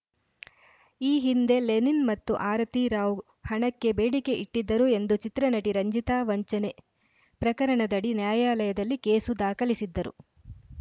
ಈ ಹಿಂದೆ ಲೆನಿನ್‌ ಮತ್ತು ಆರತಿ ರಾವ್‌ ಹಣಕ್ಕೆ ಬೇಡಿಕೆ ಇಟ್ಟಿದ್ದರು ಎಂದು ಚಿತ್ರನಟಿ ರಂಜಿತಾ ವಂಚನೆ ಪ್ರಕರಣದಡಿ ನ್ಯಾಯಾಲಯದಲ್ಲಿ ಕೇಸು ದಾಖಲಿಸಿದ್ದರು